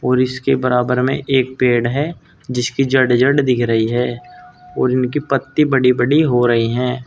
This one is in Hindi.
और इसके बराबर में एक पेड़ है जिसकी जड़ जड़ दिख रही है और उनकी पत्ती बड़ी बड़ी हो रही हैं।